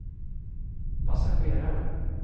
passagerare